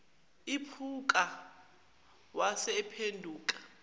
iphuka wase ephenduka